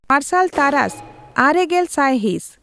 ᱢᱟᱨᱥᱟᱞ ᱛᱟᱨᱟᱥ ᱟᱨᱮ ᱜᱮᱞ ᱥᱟᱭᱦᱤᱸᱥ